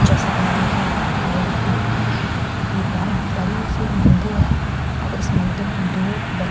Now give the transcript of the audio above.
जैसा कि मैं देख रही हूँ सुबह का वक्‍त है ये बहुत बड़ी सी मंदिर है और इस मंदिर में दो व्यक --